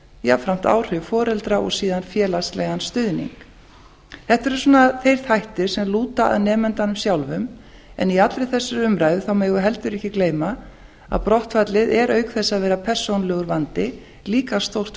jafnframt áhrif foreldra og síðan félagslegan stuðning þetta eru þeir þættir sem lúta að nemandanum sjálfum en í allri þessari umræðu megum við heldur ekki gleyma að brottfallið er auk þess að vera persónulegur vandi líka stórt